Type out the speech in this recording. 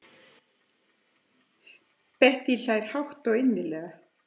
Bettý hlær hátt og innilega.